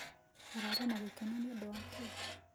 Ũrarĩ nagĩkeno nĩũndũ wa kĩĩ?